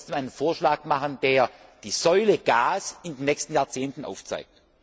Wir wollen trotzdem einen Vorschlag machen, der die Säule Gas in den nächsten Jahrzehnten aufzeigt.